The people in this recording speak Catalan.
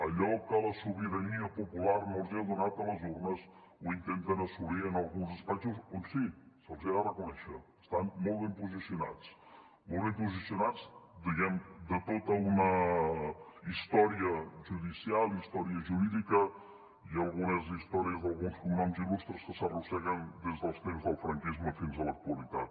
allò que la sobirania popular no els ha donat a les urnes ho intenten assolir en alguns despatxos on sí se’ls ha de reconèixer estan molt ben posicionats molt ben posicionats per tota una història judicial història jurídica i algunes històries d’alguns cognoms il·lustres que s’arrosseguen des dels temps del franquisme fins a l’actualitat